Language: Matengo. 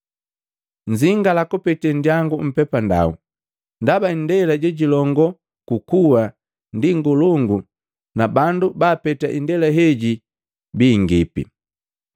“Nnzingala kupete nndiyangu mpepandau. Ndaba indela jejilongoo ku kuwa ndi ngolongu na bandu baapeta indela heji bingipi.